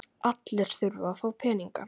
Allir þurfa að fá peninga.